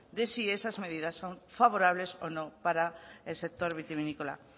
de si esas medidas son favorables o no para el sector vitivinícola